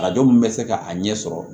Arajo min bɛ se ka a ɲɛ sɔrɔ